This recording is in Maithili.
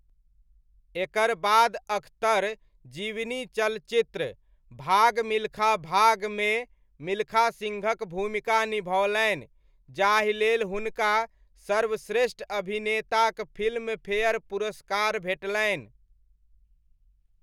एकर बाद अख्तर जीवनी चलचित्र 'भाग मिल्खा भाग' मे मिल्खा सिंहक भूमिका निभओलनि जाहि लेल हुनका सर्वश्रेष्ठ अभिनेताक फिल्मफेयर पुरस्कार भेटलनि।